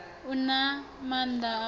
u na maanḓa a u